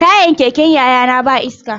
Tayar keken yayana ba iska.